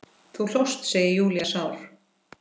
Þú hlóst, segir Júlía sár.